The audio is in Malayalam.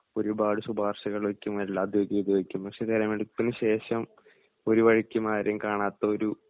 ഒരുപാട് ശുപാർശകൾ വയ്ക്കും എല്ലാ രീതിയും പക്ഷേ തിരഞ്ഞെടുപ്പിനുശേഷം ഒരു വഴിക്കും ആരെയും കാണാത്ത ഒരു